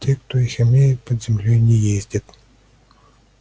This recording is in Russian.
те кто их имеет под землёй не ездят